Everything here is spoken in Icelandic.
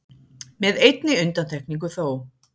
Með einni undantekningu þó